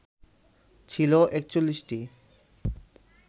ছিল ৪১টি